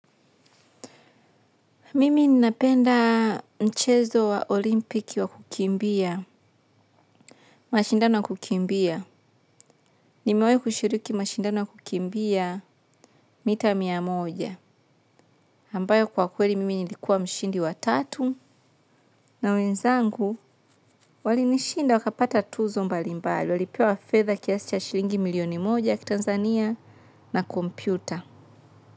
Mimi ninapenda mchezo wa olimpiki wa kukimbia, mashindano ya kukimbia. Nimewahi kushiriki mashindano ya kukimbia, mita mia moja. Ambayo kwa kweli mimi nilikuwa mshindi wa tatu na wenzangu walinishinda wakapata tuzo mbalimbali. Walipewa fedha kiasi cha shilingi milioni moja ya kitanzania, na kompyuta.